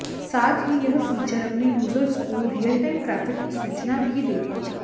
साथ ही यह फीचर अपने यूजर्स को रियलटाइम ट्रैफिक की सूचना भी देगा